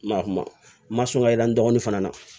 Ma kuma n ma sɔn ka yira n dɔgɔnin fana na